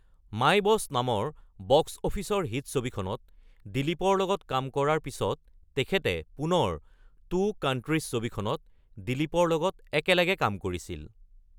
মাই Boss নামৰ বক্স অফিচৰ হিট ছবিখনত দিলীপৰ লগত কাম কৰাৰ পিছত তেখেতে পুনৰ টু কান্ট্ৰিজ ছবিখনত দিলীপৰ লগত একেলগে কাম কৰিছিল।